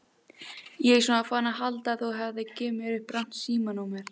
Ég sem var farinn að halda að þú hefðir gefið mér upp rangt símanúmer.